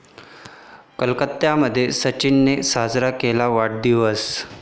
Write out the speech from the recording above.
कोलकात्यामध्ये सचिननं साजरा केला वाढदिवस